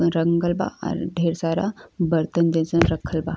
रंगल बा अर ढेर सारा बर्तन जइसन रखल बा।